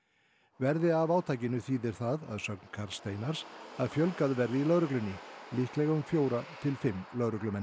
verði af átakinu þýðir það að sögn Karls Steinars að fjölgað verði í lögreglunni líklega um fjóra til fimm lögreglumenn